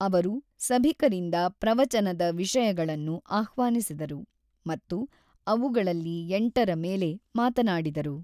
ಅವರು ಸಭಿಕರಿಂದ ಪ್ರವಚನದ ವಿಷಯಗಳನ್ನು ಆಹ್ವಾನಿಸಿದರು ಮತ್ತು ಅವುಗಳಲ್ಲಿ ಎಂಟರ ಮೇಲೆ ಮಾತನಾಡಿದರು.